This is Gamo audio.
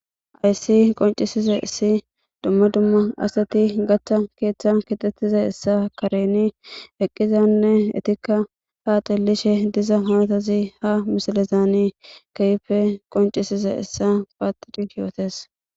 Hayssi qonccisizayssi dumma dumma asati gatta keethan keexetizayssa keren eqqizanne eetikka haa xeelishe diza haasazi ha misilezan keehippe qonccisiszayssa paattidi yootees.